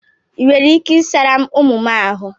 I nwere ike ị sara m ụmụ m ahụ?